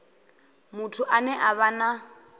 muthu ane a vha na